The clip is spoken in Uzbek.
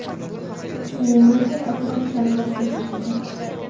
U murakkab operatsiyani boshdan kechirgan.